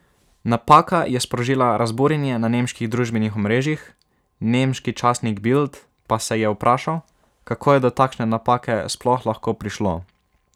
Napaka je sprožila razburjenje na nemških družbenih omrežjih, nemški časnik Bild pa se je vprašal, kako je do takšne napake sploh lahko prišlo.